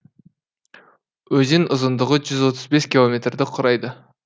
өзен ұзындығы жүз отыз бес километрді құрайды